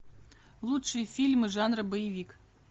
лучшие фильмы жанра боевик